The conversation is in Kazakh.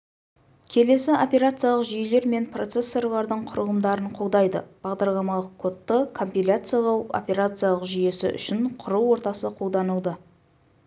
келесі операциялық жүйелер мен процессорлардың құрылымдарын қолдайды бағдарламалық кодты компиляциялау операциялық жүйесі үшін құру ортасы қолданылды